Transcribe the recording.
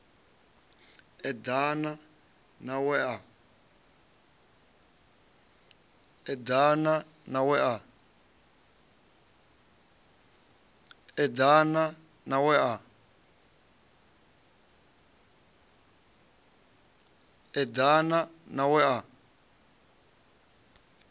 eḓana na a we a